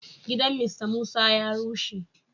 Gidan "Mr Musa" ya rushe.